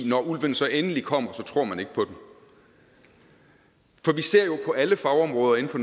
når ulven så endelig kommer tror man ikke på det vi ser jo på alle fagområder inden for